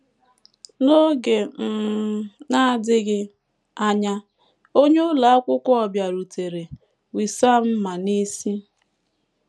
N’oge um na - adịghị anya, onye ụlọ akwụkwọ bịarutere, Wissam ma n’isi.